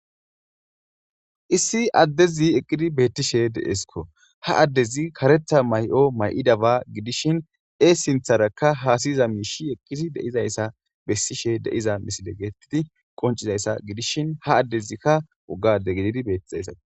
issi addezi eqqidi beettishe de7eskko ha addezi karetha may7o may7idaba gidishin ee sintharakka haasiyza miishi eqqidi deizayssa bessishe de7iza misile geetttidi qoncizayssa gidishin ha addezikka uggade gididi bettixaysao